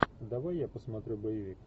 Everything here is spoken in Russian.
давай я посмотрю боевик